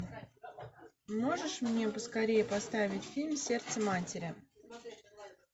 можешь мне поскорее поставить фильм сердце матери